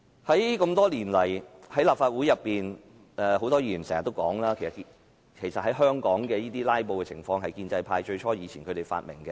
這麼多年來，在立法會裏面，很多議員經常說，香港的"拉布"，最初是建制派"發明"。